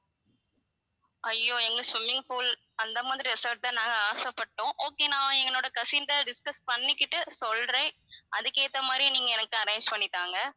ஐய்யோ எங்களுக்கு swimming pool அந்த மாதிரி resort தான் நாங்க ஆசை பட்டோம் okay நான் என்னோட cousin கிட்ட discuss பண்ணிக்கிட்டு சொல்றேன் அதுக்கு ஏத்த மாதிரி நீங்க எனக்கு arrange பண்ணி தாங்க